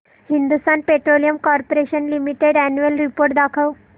Hindustan petroleum corporation limited annual report दाखव